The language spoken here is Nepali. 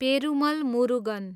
पेरुमल मुरुगन